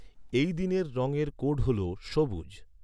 এই দিনের রঙের কোড হল সবুজ ।